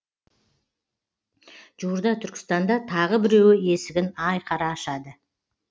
жуырда түркістанда тағы біреуі есігін айқара ашады